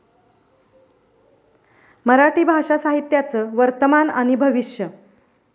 मराठी भाषा साहित्याचं वर्तमान आणि भविष्य